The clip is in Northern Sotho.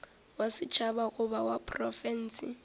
wa setšhaba goba wa profense